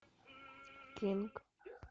кинг